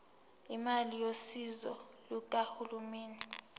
imali yosizo lukahulumeni